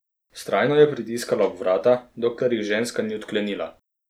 Vztrajno je pritiskala ob vrata, dokler jih ženska ni odklenila.